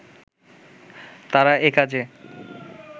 তারা একাজে